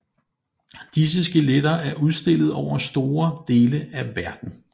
Disse skeletter er udstillet over store dele af verden